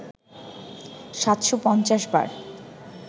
৭৫০ বার